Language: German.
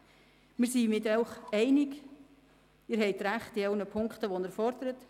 Wir sind mit Ihnen einig, Sie haben recht mit den Punkten, die Sie fordern.